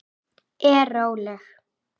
Er róleg.